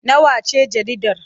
Nawa ce jaridar?